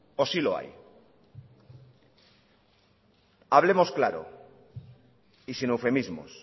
o sí lo hay hablemos claro y sin eufemismos